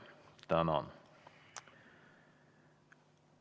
Tänan!